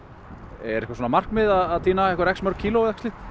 er eitthvert markmið að tína ákveðið mörg kíló